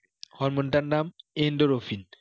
hormone টার নাম endorophin